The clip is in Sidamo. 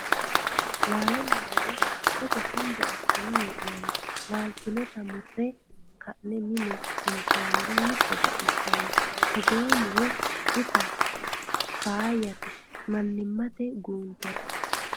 Laalonna muro togo shembe assine hee'nonni laalte nootta mure ka'ne mine intomero hiitto baxisanonka togoo muro itta faayyate manimate guuntera .